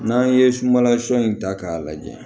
N'an ye sunbalasun in ta k'a lajɛ